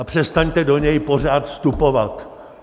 A přestaňte do něj pořád vstupovat.